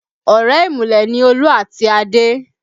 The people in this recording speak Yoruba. Ọ̀rẹ́ ìmùlẹ̀ ni Olú àti Adé